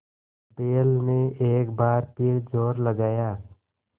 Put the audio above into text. बैल ने एक बार फिर जोर लगाया